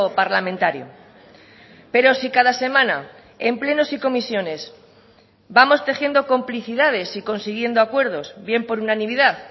parlamentario pero si cada semana en plenos y comisiones vamos tejiendo complicidades y consiguiendo acuerdos bien por unanimidad